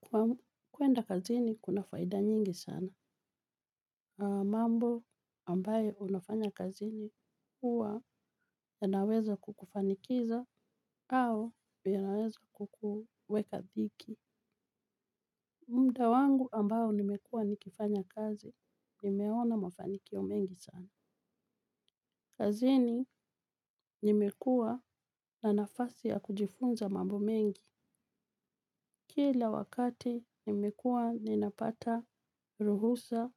Kwa kuenda kazini, kuna faida nyingi sana. Mambo ambayo unafanya kazini huwa yanaweza kukufanikiza au yanaweza kukuweka dhiki. Muda wangu ambao nimekuwa nikifanya kazi, nimeona mafanikio mengi sana. Kazini nimekua na nafasi ya kujifunza mambo mengi. Kila wakati nimekuwa ninapata ruhusa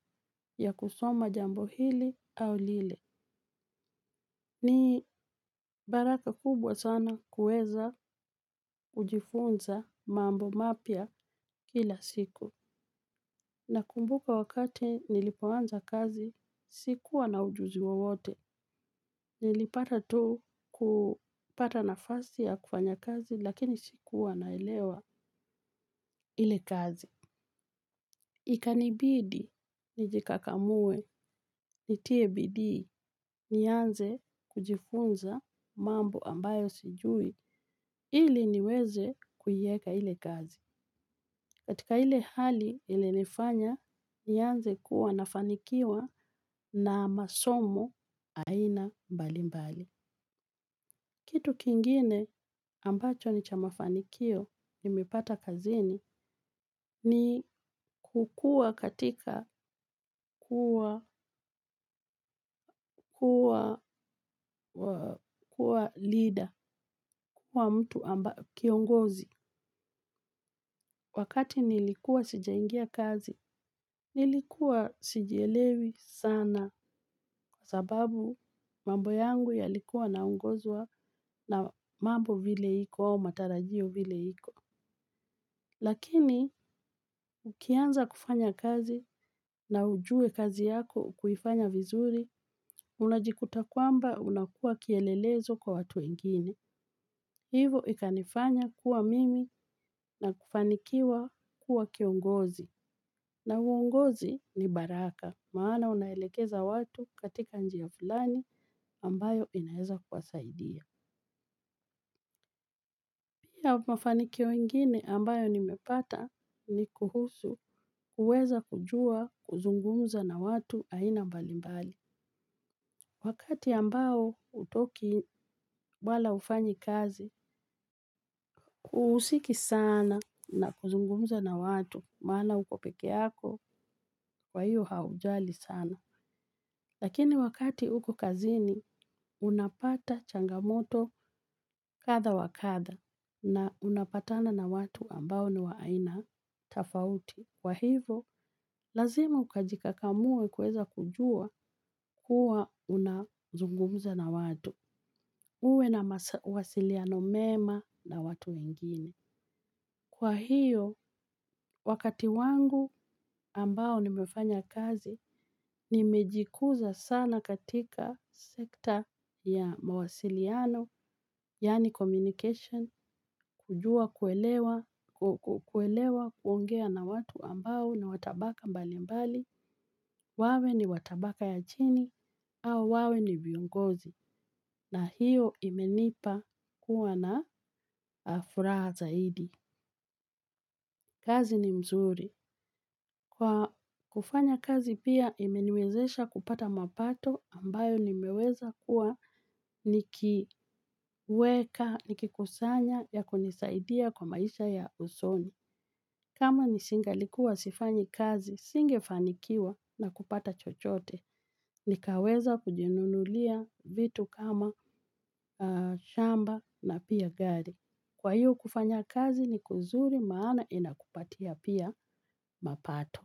ya kusoma jambo hili au lile. Ni baraka kubwa sana kuweza kujifunza mambo mapya kila siku. Nakumbuka wakati nilipoanza kazi sikuwa na ujuzi wowote. Nilipata tu kupata nafasi ya kufanya kazi lakini sikuwa naelewa ile kazi. Ikanibidi nijikakamue, nitie bidii, nianze kujifunza mambo ambayo sijui ili niweze kuieka ile kazi. Katika ile hali ilinifanya nianze kuwa nafanikiwa na masomo aina mbalimbali. Kitu kingine ambacho ni cha mafanikio nimepata kazini ni kukuwa katika kuwa leader, kuwa mtu kiongozi. Wakati nilikuwa sijaingia kazi, nilikuwa sijielewi sana kwa sababu mambo yangu yalikuwa naongozwa na mambo vile iko, matarajio vile iko. Lakini, ukianza kufanya kazi na ujue kazi yako kuifanya vizuri, unajikuta kwamba unakuwa kielelezo kwa watu wengine. Hivyo ikanifanya kuwa mimi na kufanikiwa kuwa kiongozi. Na uongozi ni baraka, maana unaelekeza watu katika njia fulani ambayo inaeza kuwasadia. Pia mafanikio ingine ambayo nimepata ni kuhusu kuweza kujua kuzungumza na watu aina mbalimbali. Wakati ambao hutoki wala hufanyi kazi, huhusiki sana na kuzungumza na watu, maana uko peke yako, kwa hiyo haujali sana. Lakini wakati uko kazini, unapata changamoto kadha wa kadha, na unapatana na watu ambao ni wa aina tofauti. Kwa hivo, lazima ukajikakamue kuweza kujua kuwa unazungumza na watu. Uwe na mawasiliano mema na watu wengine. Kwa hiyo, wakati wangu ambao nimefanya kazi, nimejikuza sana katika sekta ya mawasiliano, yaani communication, kujua kuelewa, kuelewa kuongea na watu ambao ni wa tabaka mbalimbali, wawe ni wa tabaka ya chini, au wawe ni viongozi. Na hiyo imenipa kuwa na furaha zaidi. Kazi ni mzuri. Kwa kufanya kazi pia imeniwezesha kupata mapato ambayo nimeweza kuwa nikiweka, nikikusanya ya kunisaidia kwa maisha ya usoni. Kama nisingalikuwa sifanyi kazi, singefanikiwa na kupata chochote. Nikaweza kujinunulia vitu kama shamba na pia gari. Kwa hiyo kufanya kazi ni kuzuri maana inakupatia pia mapato.